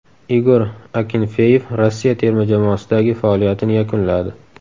Igor Akinfeyev Rossiya terma jamoasidagi faoliyatini yakunladi.